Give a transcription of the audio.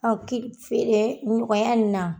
feere nɔgɔya nin na.